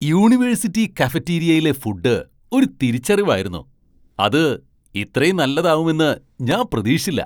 University കഫറ്റീരിയയിലെ food ഒരു തിരിച്ചറിവായിരുന്നു. അത് ഇത്രേം നല്ലതാവുമെന്ന് ഞാൻ പ്രതീക്ഷിച്ചില്ല.